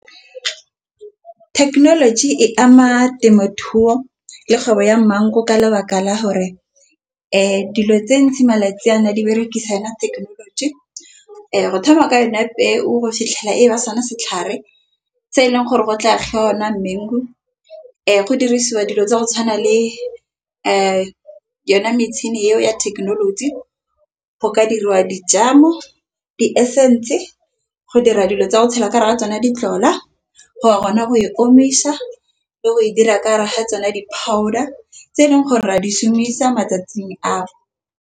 Technology e ama temothuo le kgwebo ya maungo ka lebaka la hore dilo tse ntsi malatsi ana di berekisana technology. Go thoma ka yone peo go fitlhela e ba sone setlhare. Tse eleng gore go tla go ona dimaung go dirisiwa dilo tsa go tshwana le yone metšhini eo ya thekenoloji. Go ka diriwa dijalo di sentse go dira dilo tsa go tshela kare ga tsona di tlola, go wa rona go e omisa le go e dira ka raga tsona di-powder tse eleng gore ra di šhumisa matsatsing ana.